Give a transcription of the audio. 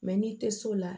n'i tɛ so la